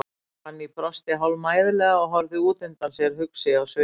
Fanný brosti hálfmæðulega og horfði út undan sér, hugsi á svip.